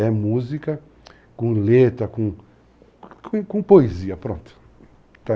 É música com letra, com poesia, pronto.